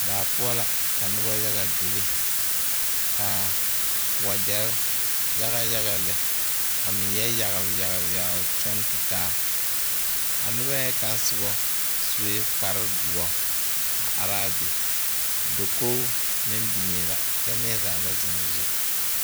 Daa poɔ la ka noba yaga bebe ka wagyɛre yaga yaga lɛ a meŋ yɛ yagle yagle yagle kyɔŋ tutaa a noba ŋa kaŋ soba sue kparedoɔ a are a be dakogi meŋ biŋe la kyɛ neɛ zaa ba zeŋ o zu.